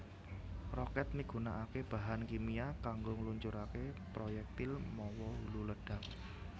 Rokèt migunakaké bahan kimia kanggo ngluncuraké proyektil mawa hulu ledhak